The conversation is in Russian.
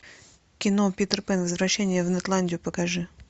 кино питер пэн возвращение в нетландию покажи